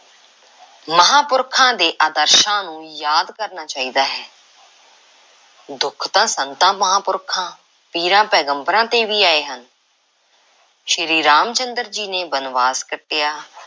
ਮਹਾਂਪੁਰਖਾਂ ਦੇ ਆਦਰਸ਼ਾਂ ਨੂੰ ਯਾਦ ਕਰਨਾ ਚਾਹੀਦਾ ਹੈ। ਦੁੱਖ ਤਾਂ ਸੰਤਾਂ–ਮਹਾਂਪੁਰਖਾਂ, ਪੀਰਾਂ–ਪੈਗੰਬਰਾਂ ‘ਤੇ ਵੀ ਆਏ ਹਨ। ਸ੍ਰੀ ਰਾਮ ਚੰਦਰ ਜੀ ਨੇ ਬਣਵਾਸ ਕੱਟਿਆ,